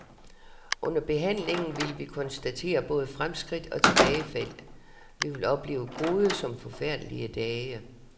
Under behandlingen vil vi konstatere både fremskridt og tilbagefald, vi vil opleve gode som forfærdelige dage.